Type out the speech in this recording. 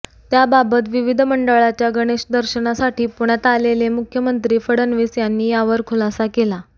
त्याबाबत विविध मंडळांच्या गणेश दर्शनासाठी पुण्यात आलेले मुख्यमंत्री फडणवीस यांनी यावर खुलासा केला